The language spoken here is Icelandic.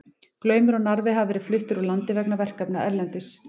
Glaumur og Narfi hafa verið fluttir úr landi vegna verkefna erlendis.